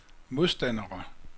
modstandere